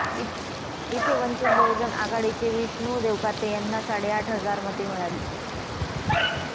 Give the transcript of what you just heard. इथे वंचित बहुजन आघाडीचे विष्णु देवकाते यांना साडेआठ हजार मते मिळाली